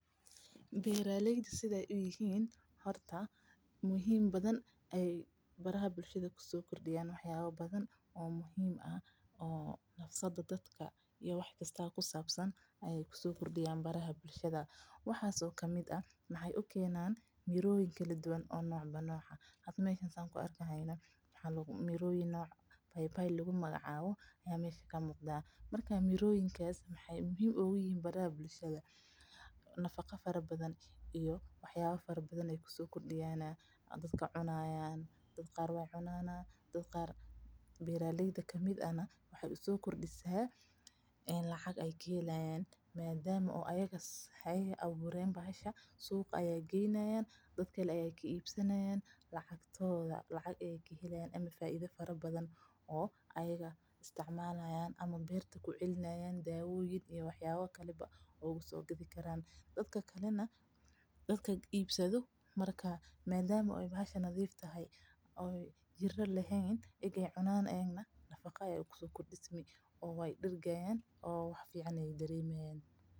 Beeraleyda sida aay uyihiin horta muhiim badan ayeey bulshada kusoo kordiyaan wax yaaba badan oo nolosha dadka ayeey kusoo kordiyaan miroyin ayeey keenaan miroyinka waxeey bulshada kusoo kordiyaan nafaqa waa la cunaa beeraleyda ayagana suuqa ayeey geeyan waay soo gadanayan lacag ayeey kahelayaan dadka kalena waay cunaayan nafaqa ayeey kahelayaan.